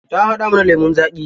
Ta haɗa mana lemun zaƙi.